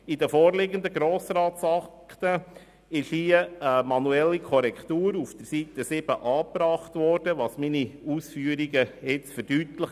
In den vorliegenden Grossratsakten wurde eine manuelle Korrektur auf Seite 7 angebracht, was meine Ausführungen nun verdeutlicht.